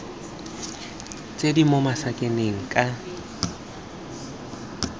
tse di mo masakaneng ka